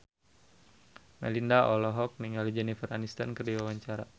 Melinda olohok ningali Jennifer Aniston keur diwawancara